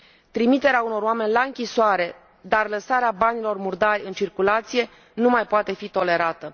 Trimiterea unor oameni la închisoare, dar lăsarea banilor murdari în circulație, nu mai poate fi tolerată.